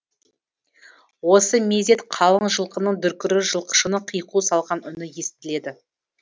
осы мезет қалың жылқының дүркірі жылқышының қиқу салған үні естіледі